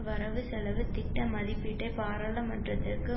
வரவுசெலவு திட்ட மதிப்பீட்டை பாராளுமன்றத்திற்கு